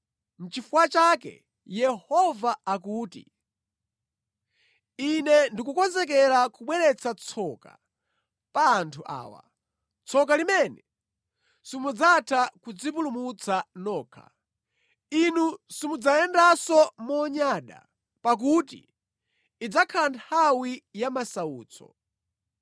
Nʼchifukwa chake Yehova akuti, “Ine ndikukonzekera kubweretsa tsoka pa anthu awa, tsoka limene simudzatha kudzipulumutsa nokha. Inu simudzayendanso monyada, pakuti idzakhala nthawi ya masautso.